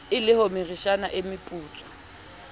e le homeritshana e meputswa